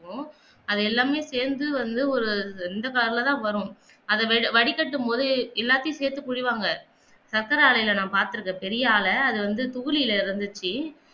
அது எல்லாமே சேர்ந்து வந்து ஒரு அந்த கலர்ல தான் வரும் அத வடிகட்டும்போது எல்லாத்தையும் சேர்த்து பிலி வாங்க சக்கர ஆலயில நான் பார்த்திருக்கிறேன் பெரிய ஆளா அது வந்து தூளில வந்துச்சி